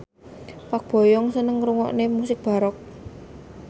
Park Bo Yung seneng ngrungokne musik baroque